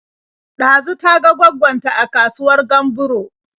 Ɗazu ta ga gwaggon ta a kasuwar Gamburo.